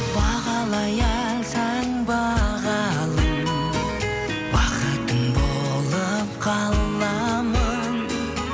бағалай алсаң бағалым бақытың болып қаламын